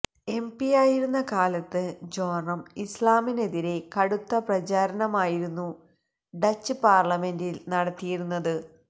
എംപിയായിരുന്ന കാലത്ത് ജോറം ഇസ്ലാമിനെതിരെ കടുത്ത പ്രചാരണമായിരുന്നു ഡച്ച് പാർലിമെന്റിൽ നടത്തിയിരുന്നത്